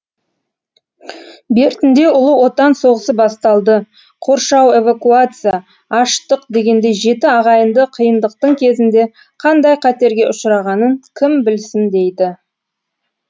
бертінде ұлы отан соғысы басталды қоршау эвакуация аштық дегендей жеті ағайынды қиындықтың кезінде қандай қатерге ұшырағанын кім білсін дейді